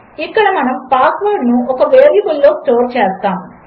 ఇక్కడమనముపాస్వర్డ్నుఒకవేరియబుల్లోస్టోర్చేస్తాము